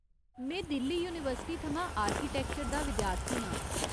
में दिल्ली यूनीवर्सिटी थमां आर्किटैक्चर दा विद्यार्थी आं।